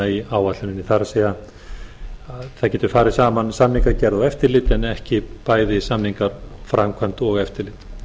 í áætluninni það er það getur farið saman samningagerð og eftirlit en ekki bæði samningar framkvæmd og eftirlit